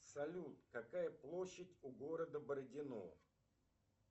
салют какая площадь у города бородино